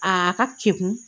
A ka kekun